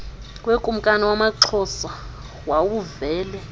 wekumkani yamaxhosa wawuvele